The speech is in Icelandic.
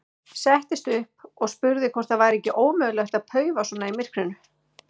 Settist upp og spurði hvort það væri ekki ómögulegt að paufa svona í myrkrinu.